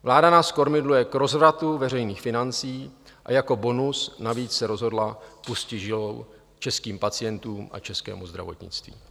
Vláda nás kormidluje k rozvratu veřejných financí a jako bonus navíc se rozhodla pustit žilou českým pacientům a českému zdravotnictví.